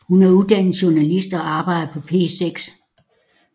Hun er uddannet journalist og arbejder på P6